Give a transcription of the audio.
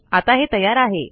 आता हे तयार आहे